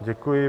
Děkuji.